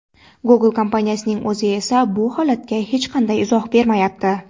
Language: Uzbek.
Google kompaniyasining o‘zi esa bu holatga hech qanday izoh bermayapti.